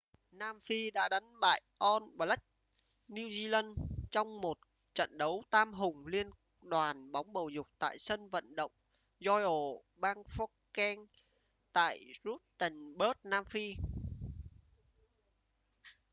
nam phi đã đánh bại all blacks new zealand trong một trận đấu tam hùng liên đoàn bóng bầu dục tại sân vận động royal bafokeng tại rustenburg nam phi